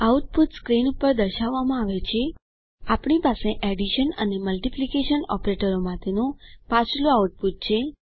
output screen પર દર્શાવવામાં આવે છે આપણી પાસે એડીશન અને મલ્ટીપ્લીકેશન ઓપરેટરો માટેનું પાછલું આઉટપુટ છે